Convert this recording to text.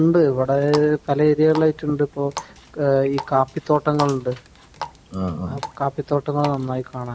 ആഹ് ഉണ്ട് വടകരയിൽ ഇപ്പോൾ കാപ്പിത്തോട്ടങ്ങൾ ഉണ്ട് . കാപ്പി തോട്ടങ്ങൾ നന്നായി കാണാനുണ്ട്